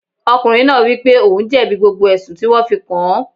Ọkùnrin náà wípé ohun jẹ̀bi gbogbo ẹ̀sùn tí wón fi kàn án.